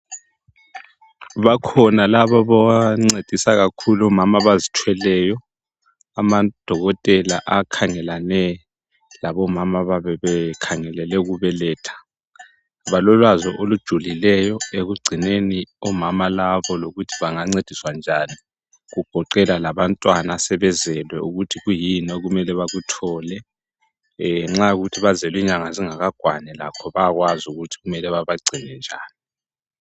Bakhona labo abancedisa kakhulu omama abazithweleyo amadokotela akhangelane labomama ababe bekhangelele ukubeletha. Balolwazi olujulileyo ekugcineni omama labo lokuthi bangancediswa njani kugoqelwa labantwana asebezelwe ukuthi kuyini okumele bakuthole Nxa kuyikuthi bazelwe inyanga zingakakwani bayakwazi ukuthi babancedisa njani